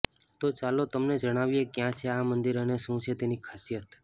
તો ચાલો તમને જણાવીએ ક્યાં છે આ મંદિર અને શું છે તેની ખાસિયત